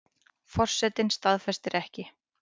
Forsetinn staðfestir ekki